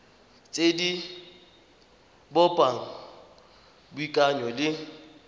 tse di bopang boikanyo le